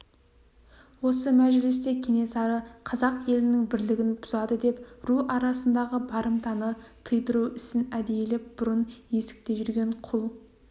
осы мәжілісте кенесары қазақ елінің бірлігін бұзады деп ру арасындағы барымтаны тыйдыру ісін әдейілеп бұрын есікте жүрген құл